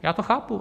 Já to chápu.